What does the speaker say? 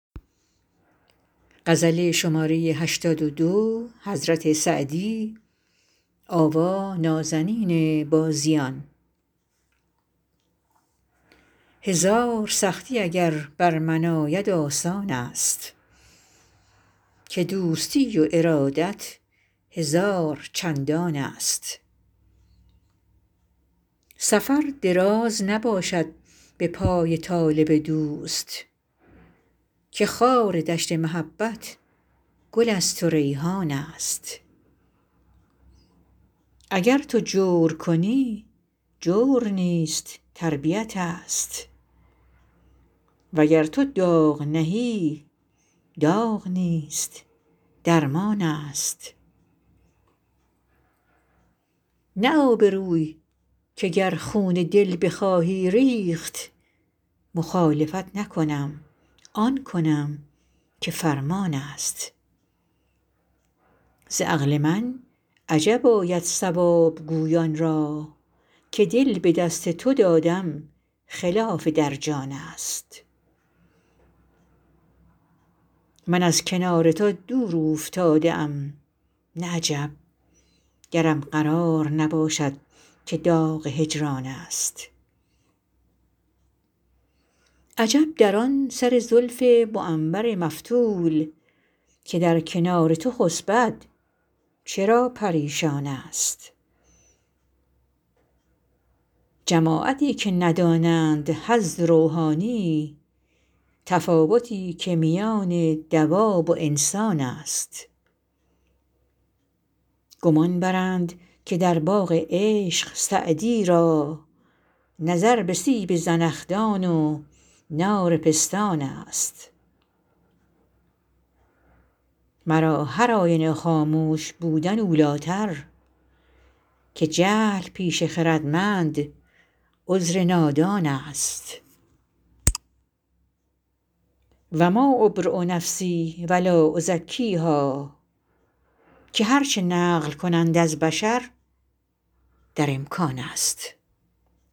هزار سختی اگر بر من آید آسان است که دوستی و ارادت هزار چندان است سفر دراز نباشد به پای طالب دوست که خار دشت محبت گل است و ریحان است اگر تو جور کنی جور نیست تربیت ست وگر تو داغ نهی داغ نیست درمان است نه آبروی که گر خون دل بخواهی ریخت مخالفت نکنم آن کنم که فرمان است ز عقل من عجب آید صواب گویان را که دل به دست تو دادن خلاف در جان است من از کنار تو دور اوفتاده ام نه عجب گرم قرار نباشد که داغ هجران است عجب در آن سر زلف معنبر مفتول که در کنار تو خسبد چرا پریشان است جماعتی که ندانند حظ روحانی تفاوتی که میان دواب و انسان است گمان برند که در باغ عشق سعدی را نظر به سیب زنخدان و نار پستان است مرا هرآینه خاموش بودن اولی تر که جهل پیش خردمند عذر نادان است و ما أبری نفسی و لا أزکیها که هر چه نقل کنند از بشر در امکان است